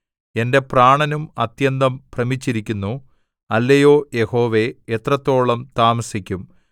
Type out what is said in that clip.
എന്റെ പ്രാണനും അത്യന്തം ഭ്രമിച്ചിരിക്കുന്നു അല്ലയോ യഹോവേ എത്രത്തോളം താമസിക്കും